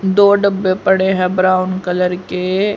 दो डब्बे पड़े है ब्राउन कलर के।